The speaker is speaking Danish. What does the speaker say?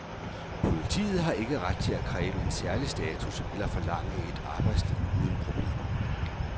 Politiet har ikke ret til at kræve en særlig status eller forlange et arbejdsliv uden problemer.